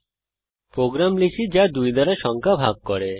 একটি প্রোগ্রাম লিখি যা 2 দ্বারা সংখ্যা ভাগ করে